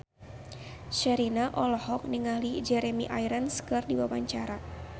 Sherina olohok ningali Jeremy Irons keur diwawancara